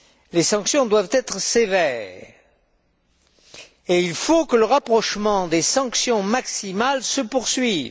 Les sanctions doivent être sévères et il faut que le rapprochement des sanctions maximales se poursuive.